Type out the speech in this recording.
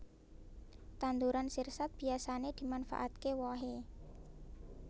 Tanduran sirsat biyasané dimanfaatké wohe